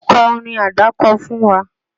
Kọ́ orin àdákọ fún wa!